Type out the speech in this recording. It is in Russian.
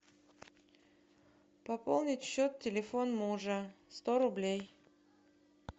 пополнить счет телефон мужа сто рублей